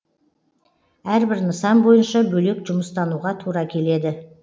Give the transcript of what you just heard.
әрбір нысан бойынша бөлек жұмыстануға тура келеді